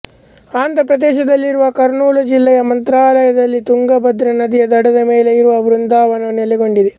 ಆಂಧ್ರಪ್ರದೇಶದಲ್ಲಿರುವ ಕರ್ನೂಲುಜಿಲ್ಲೆಯ ಮಂತ್ರಾಲಯದಲ್ಲಿ ತುಂಗಭದ್ರಾನದಿಯ ದಡದ ಮೇಲೆ ಇವರ ವೃಂದಾವನವು ನೆಲೆಗೊಂಡಿದೆ